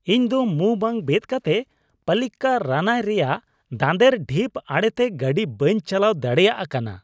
ᱤᱧ ᱫᱚ ᱢᱩᱸ ᱵᱟᱝ ᱵᱮᱫ ᱠᱟᱛᱮᱫ ᱯᱟᱞᱞᱤᱠᱟᱨᱟᱱᱟᱭ ᱨᱮᱭᱟᱜ ᱫᱟᱸᱫᱮᱨ ᱰᱷᱤᱯ ᱟᱲᱮᱛᱮ ᱜᱟᱹᱰᱤ ᱵᱟᱹᱧ ᱪᱟᱞᱟᱣ ᱫᱟᱲᱮᱭᱟᱜ ᱠᱟᱱᱟ ᱾